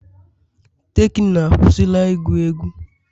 tekno akwụsịla ịgu egwu